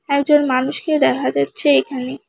একজন মানুষকে দেখা যাচ্ছে এখানে।